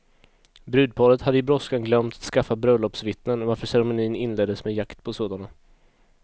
Brudparet hade i brådskan glömt att skaffa bröllopsvittnen, varför ceremonin inleddes med jakt på sådana.